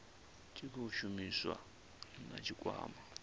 tshi khou shumisaniwa na tshikwama